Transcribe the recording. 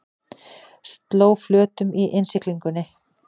Sló flötum í innsiglingunni